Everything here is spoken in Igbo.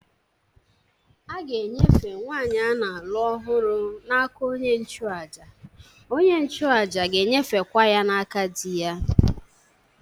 A ga-enyefe nwanyị a na-alụ ọhụrụ n'aka onye nchụàjà, onye nchụàjà ga-enyefekwa ya n'aka di ya